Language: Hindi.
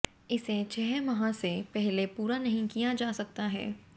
इसे छह माह से पहले पूरा नहीं किया जा सकता है